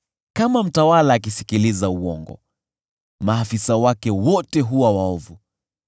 Kama mtawala akisikiliza uongo, maafisa wake wote huwa waovu.